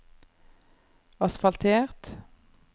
asfaltert